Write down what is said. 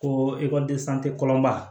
Ko kɔlɔnba